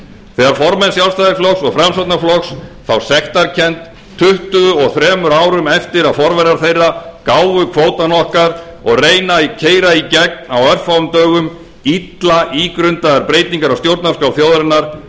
þegar formenn sjálfstæðisflokks og framsóknarflokks fá sektarkennd tuttugu og þremur árum eftir að forverar þeirra gáfu kvótann okkar og reyna að keyra í gegn á örfáum dögum illa ígrundaðar breytingar á stjórnarskrá þjóðarinnar